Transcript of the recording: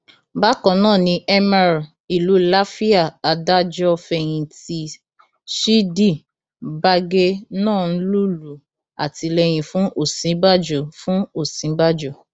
bákan náà ni emir ìlú làfíà adájọfẹyìntì ṣídì bagé náà ń lùlù àtìlẹyìn fún òsínbàjò fún òsínbàjò